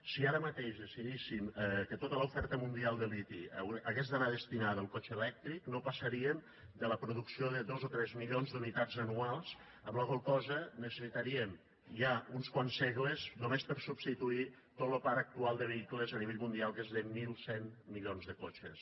si ara mateix decidíssim que tota l’oferta mundial de liti hagués d’anar destinada a lo cotxe elèctric no passaríem de la producció de dos o tres milions d’unitats anuals amb la qual cosa necessitaríem ja uns quants segles només per substituir tot lo parc actual de vehicles a nivell mundial que és de mil cent milions de cotxes